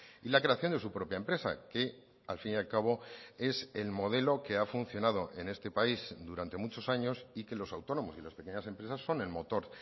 y la creación de su propia empresa que al fin y al cabo es el modelo que ha funcionado en este país durante muchos años y que los autónomos y las pequeñas empresas son el motor